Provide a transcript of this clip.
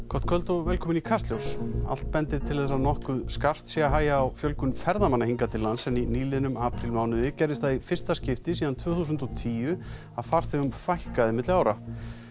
gott kvöld og velkomin í Kastljós allt bendir til þess að nokkuð skarpt sé að hægja á fjölgun ferðamanna hingað til lands en í nýliðnum aprílmánuði gerðist það í fyrsta skipti síðan tvö þúsund og tíu að farþegum fækkaði milli ára